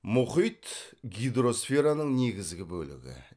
мұхит гидросфераның негізгі бөлігі